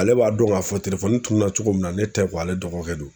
Ale b'a dɔn ŋ'a fɔ tuunna cogo min na ne tɛ ale dɔgɔkɛ don.